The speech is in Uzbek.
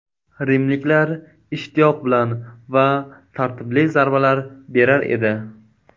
Rimliklar ishtiyoq bilan va tartibli zarbalar berar edi.